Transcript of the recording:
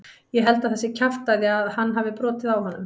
Ég held að það sé kjaftæði að hann hafi brotið á honum.